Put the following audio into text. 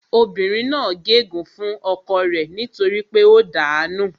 Obìnrin náà gé ègún fún ọkọ rẹ nítorí pé ó dàá nù